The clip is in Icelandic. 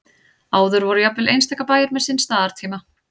áður voru jafnvel einstaka bæir með sinn staðartíma